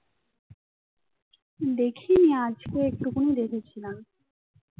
দেখিনি আজকে একটুখুনি দেখেছিলাম